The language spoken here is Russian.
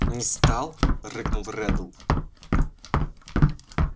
не стал рыкнул реддл